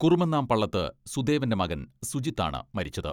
കുറുമന്നാം പള്ളത്ത് സുദേവന്റെ മകൻ സുജിത് ആണ് മരിച്ചത്.